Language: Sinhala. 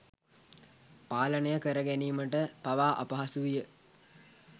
පාලනය කරගැනීමට පවා අපහසු විය.